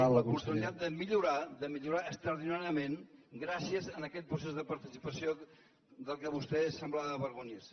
l’oportunitat de millorar de millorar extraordinàriament gràcies a aquest procés de participació del qual vostè semblava avergonyir se